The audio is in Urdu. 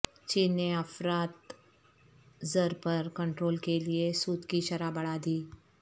چین نے افراط زر پر کنٹرول کے لیے سود کی شرح بڑھا دی